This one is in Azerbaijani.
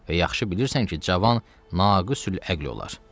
Və yaxşı bilirsən ki, cavan naqisül əql olar.